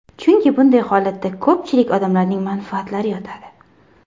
Chunki bunday holatda ko‘pchilik odamlarning manfaatlari yotadi.